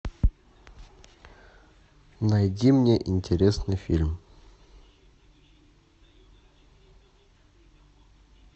найди мне интересный фильм